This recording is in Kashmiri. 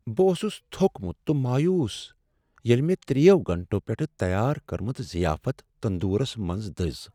بہٕ اوسس تھوٚکمت تہٕ مایوس ییٚلہ مےٚ ترٛیٚیو گنٹو پیٹھٕ تیار کٔرمٕژ ضیافت تندورس منٛز دٔز۔